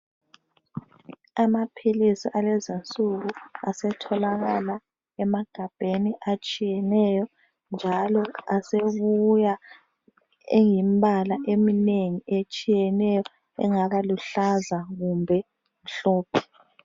Amaphilisi alezi nsuku asetholakala emagabheni atshiyeneyo njalo asebuya eyimbala eminengi etshiyeneyo engaba luhlaza kumbe mhlophe.